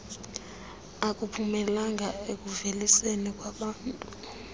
akuphumelelanga ekuuveliseni ubuntu